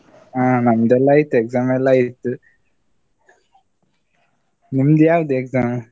ಹ ನಮ್ದೆಲ್ಲ ಆಯ್ತು exam ಎಲ್ಲ ಆಯ್ತು, ನಿಮ್ದು ಯಾವ್ದು exam ?